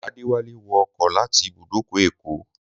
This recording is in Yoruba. Adéwálé wọ ọkọ láti ibùdókọ̀ Èkó